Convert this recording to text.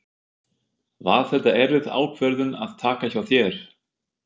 Var þetta erfið ákvörðun að taka hjá þér?